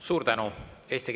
Suur tänu!